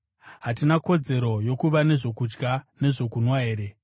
Hatina kodzero yokuva nezvokudya nezvokunwa here?